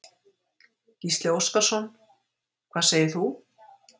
Gísli Óskarsson: Hvað segir þú?